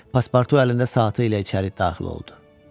Paspartu əlində saatı ilə içəri daxil oldu.